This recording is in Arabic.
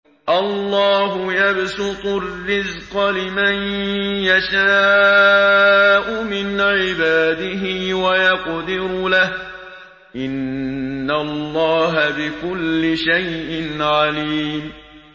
اللَّهُ يَبْسُطُ الرِّزْقَ لِمَن يَشَاءُ مِنْ عِبَادِهِ وَيَقْدِرُ لَهُ ۚ إِنَّ اللَّهَ بِكُلِّ شَيْءٍ عَلِيمٌ